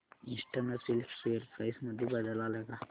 eastern silk share price मध्ये बदल आलाय का